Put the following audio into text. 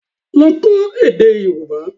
Lọ kọ́ èdè Yorùbá